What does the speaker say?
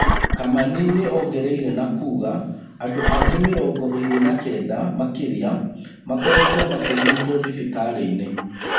Kamani nĩongereire na kuga andũangĩ mĩrongo ĩrĩ na Kenda makĩria makoretwo makĩrigitwo thibitarĩ-inĩ.